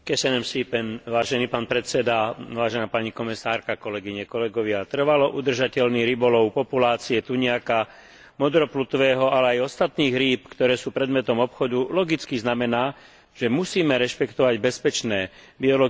Trvalo udržateľný rybolov populácie tuniaka modroplutvého, ale aj ostatných rýb, ktoré sú predmetom obchodu, logicky znamená, že musíme rešpektovať bezpečné biologické limity, aby sa zachovala prirodzená rovnováha morských vôd.